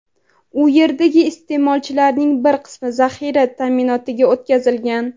u yerdagi iste’molchilarning bir qismi zaxira ta’minotiga o‘tkazilgan.